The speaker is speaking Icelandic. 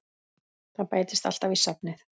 Það bætist alltaf í safnið.